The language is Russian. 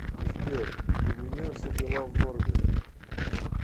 сбер у меня все дела в норме